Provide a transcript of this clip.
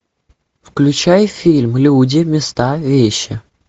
включай фильм люди места вещи